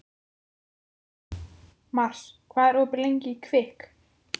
Mars, hvað er opið lengi í Kvikk?